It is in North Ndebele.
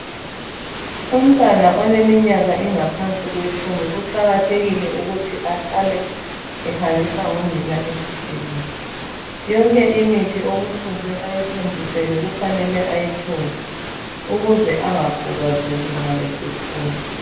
Umntwana oleminyaka engaphansi kwetshumi kuqakathekile ukuthi ahlale ehanjiswa ngunina esibhedlela. Yonke imithi okufuze ayithontiselwe kufanele ayithole ukuze angakhubazeki nxa esekhula.